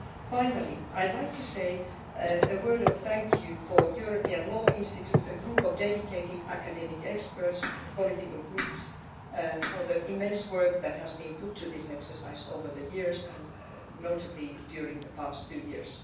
Finally I would like to say a word of thanks to the European Law Institute, a group of dedicated academic experts, from the political groups, for the immense amount of work that has gone into this exercise over the years, and notably during the past two years.